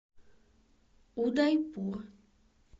удайпур